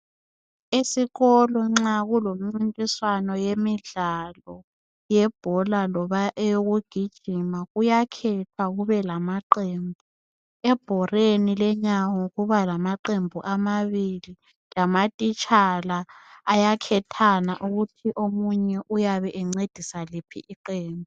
Esikolo nxa kulemncintiswano yemdlaloo yebhola loba eyokugijima kuyakhethwa kube lamaqembu ebhoreni lenyawo kuba lamaqembu amabili lamatitshala ayakhethana ukuthi omunye uyabencedisa liph iqembu.